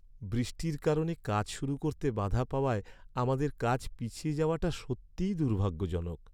বৃষ্টির কারণে কাজ শুরু করতে বাধা পাওয়ায় আমাদের কাজ পিছিয়ে যাওয়াটা সত্যিই দুর্ভাগ্যজনক।